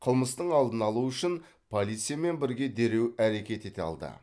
қылмыстың алдын алу үшін полициямен бірге дереу әрекет ете алды